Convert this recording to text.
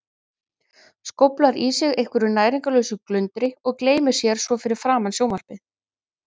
Skóflar í sig einhverju næringarlausu glundri og gleymir sér svo fyrir framan sjónvarpið.